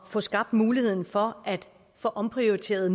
få skabt mulighed for at få omprioriteret